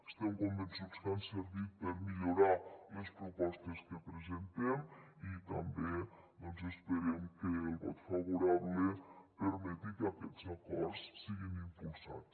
estem convençuts que han servit per millorar les propostes que presentem i també doncs esperem que el vot favorable permeti que aquests acords siguin impulsats